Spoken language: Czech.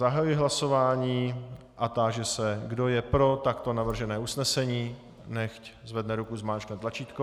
Zahajuji hlasování a táži se, kdo je pro takto navržené usnesení, nechť zvedne ruku, zmáčkne tlačítko.